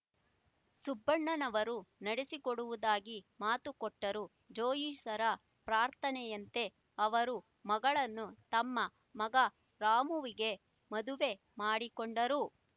ಸುಬ್ಬಣ್ಣನವರು ನಡೆಸಿಕೊಡುವುದಾಗಿ ಮಾತುಕೊಟ್ಟರು ಜೋಯಿಸರ ಪ್ರಾರ್ಥನೆಯಂತೆ ಅವರ ಮಗಳನ್ನು ತಮ್ಮ ಮಗ ರಾಮುವಿಗೆ ಮದುವೆ ಮಾಡಿಕೊಂಡರು